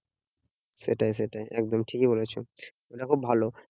সেটাই সেটাই একদম ঠিকই বলেছো। এটা খুব ভালো